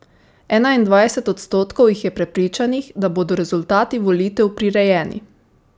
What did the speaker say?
Enaindvajset odstotkov jih je prepričanih, da bodo rezultati volitev prirejeni.